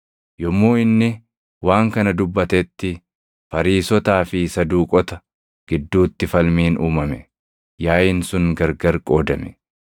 Yommuu inni waan kana dubbatetti Fariisotaa fi Saduuqota gidduutti falmiin uumame; yaaʼiin sun gargar qoodame.